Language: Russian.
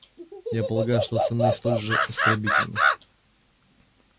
я полагаю что остальные столь же оскорбительны